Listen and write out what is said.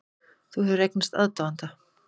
Þú hefur eignast aðdáanda.